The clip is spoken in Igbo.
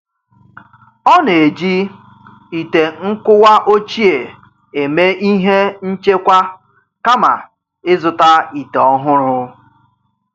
Ọ na-eji ite nkuwa ochie eme ihe nchekwa kama ị zụta ite ọhụrụ.